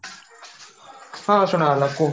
ହଁ ସୁନା ଗଲା କୁହ